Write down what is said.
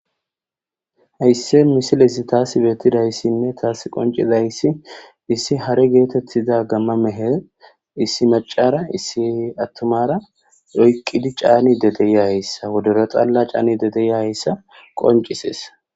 Hayissi missilezi tasi bettidayissine tasi qonccidayisi issi hare gettetiza gamma meheni issi maccara issi attumara oyqqidi caanide de'iyayisa woddoro xalla cannizayissa de'iyayisa qonccises.